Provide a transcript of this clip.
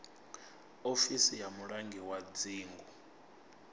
ofisi ya mulangi wa dzingu